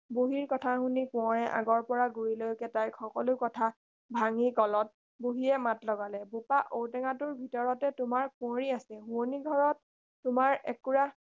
বুঢ়ীৰ কথা শুনি কোঁৱৰে আগৰপৰা গুৰিলৈকে তাইক সকলো কথা ভাঙি কলত বুঢ়ীয়ে মাত লগালে বোপা ঔ টেঙাটোৰ ভিতৰতে তোমাৰ কুঁৱৰী আছে শোৱনি ঘৰৰ তোমাৰ একুৰা